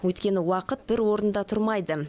өйткені уақыт бір орнында тұрмайды